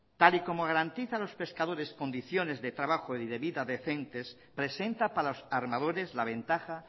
tal y como garantizan los pescadores condiciones de trabajo y de vida decentes presenta para los armadores la ventaja